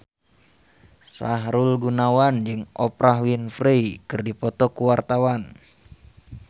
Sahrul Gunawan jeung Oprah Winfrey keur dipoto ku wartawan